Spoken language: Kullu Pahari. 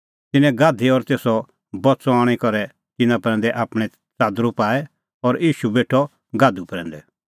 तिन्नैं गाधी और तेसो बच्च़अ आणी करै तिन्नां प्रैंदै आपणैं च़ादरू पाऐ और ईशू बेठअ गाधू प्रैंदै